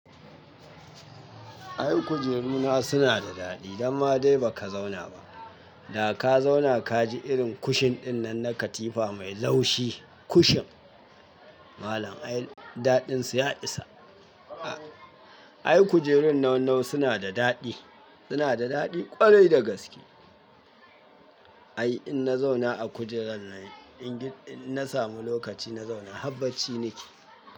Ai kujeru na suna da daɗi, danma dai ba ka zauna ba. Da ka zauna ka ji irin kushin ɗinnan na katifa mai laushi, kushin. Malam ai daɗin sa ya isa. Ai kujerun nau-nau suna da daɗi, suna da daɗi ƙwarai da gaske. Ai in na zauna a kujerar nan, ingi na samu lokaci na zauna, habbaci nike.